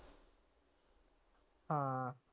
ਹਾਂ।